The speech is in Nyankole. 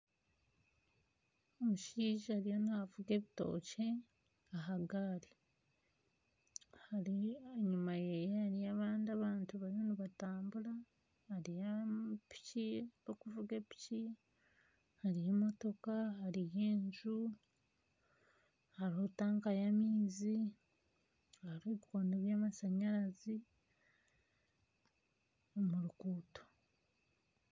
Omushaija ariyo naavuga ebitookye aha gaari. Hari ahanyuma ye hariyo abandi abantu bariyo nibatambura. Hariyo piki ab'okuvuga epiki. Hariyo emotoka hariyo enju. Hariho tanka y'amaizi, hariho ebikondo byamashanyarazi omu ruguuto.